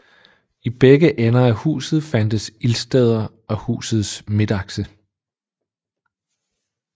I begge ender af huset fandtes ildsteder i husets midtakse